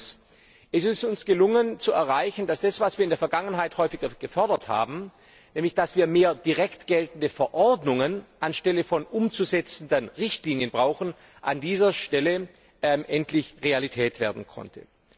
Erstens ist es uns gelungen, zu erreichen, dass das, was wir in der Vergangenheit häufiger gefordert haben, nämlich dass wir mehr direkt geltende Verordnungen anstelle von umzusetzenden Richtlinien brauchen, an dieser Stelle endlich Realität werden konnte.